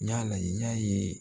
N y'a lajɛ n y'a ye